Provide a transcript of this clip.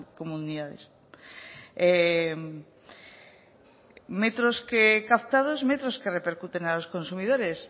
comunidades metros captados metros que repercuten a los consumidores